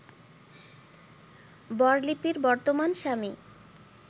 বর লিপির বর্তমান স্বামী